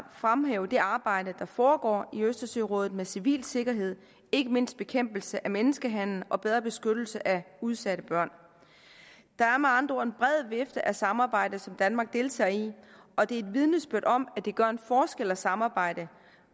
fremhæve det arbejde der foregår i østersørådet med civil sikkerhed ikke mindst bekæmpelse af menneskehandel og bedre beskyttelse af udsatte børn der er med andre ord en bred vifte af samarbejde som danmark deltager i og det er et vidnesbyrd om at det gør en forskel at samarbejde